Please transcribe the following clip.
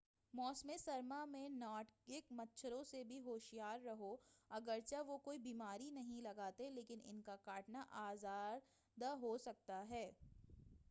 موسمِ گرما میں نارڈ ک مچھروں سے بھی ہوشیار رہو اگر چہ وہ کوئی بیماری نہیں لگاتے لیکن ان کا کاٹنا آزار دہ ہو سکتا ہے